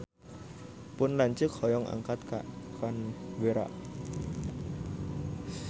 Pun lanceuk hoyong angkat ka Canberra